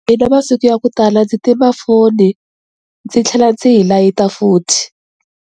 Mina masiku ya ku tala ndzi tima foni ndzi tlhela ndzi hi layita futhi.